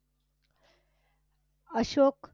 Ashok